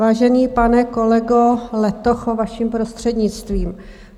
Vážený pane kolego Letocho, vaším prostřednictvím.